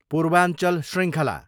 पूर्वाञ्चल शृङ्खला